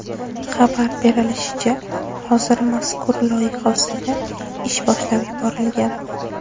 Xabar berilishicha, hozir mazkur loyiha ustida ish boshlab yuborilgan.